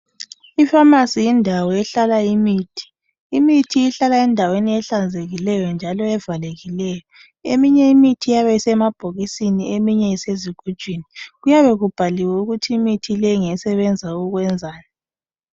Ifamasi yindawo ehlala imithi. Imithi ihlala endaweni ehlanzekileyo njalo evalekileyo. Eminye imithi iyabe isemabhokisini eminye isezigujini. Kuyabe kubhaliwe ukuthi imithi le ngesebenza ukwenzani.